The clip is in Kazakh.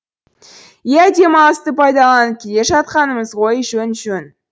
иә демалысты пайдаланып келе жатқанымыз ғой жөн жөн